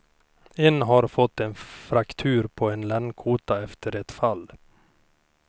En har fått en fraktur på en ländkota efter ett fall.